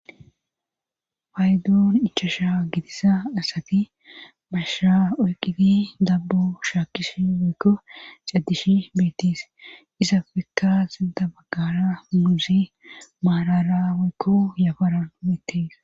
Paydoon ichasha gidiza asati masha oyqiti dabbo shaakkishi weykko caddishi beettis isafekkaas dabaggara muuzey maarara woykko yafara beettis